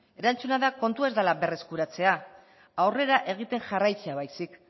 erantzuna da kontua ez dela berreskuratzea aurrera egiten jarraitzea baizik